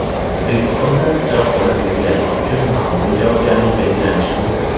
O‘zbekistonda pichoq olib yurganlik uchun ma’muriy javobgarlik belgilanishi mumkin.